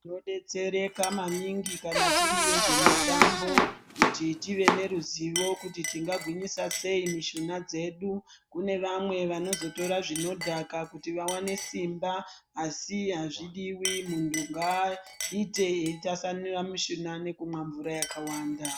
Tinodetsereka maningi kana tiri vezvemitambo ,kuti tive neruzivo kuti tingagwinyisa sei mishuna dzedu. Kune vamwe vanozotora, zvinodhaka kuti vawane simba asi azvidiwi. Muntu ngaaite eitasanura mishuna, nekumwa mvura yakawanda.